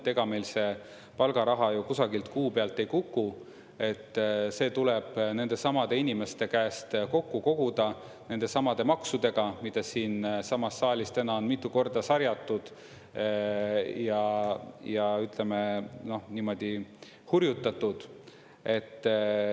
Ega meil see palgaraha ju kusagilt kuu pealt ei kuku, see tuleb nendesamade inimeste käest kokku koguda nendesamade maksudega, mida siinsamas saalis täna on mitu korda sarjatud ja, ütleme, hurjutatud.